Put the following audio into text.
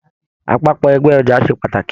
Apapọ ẹgbẹ ọja se pàtàkì.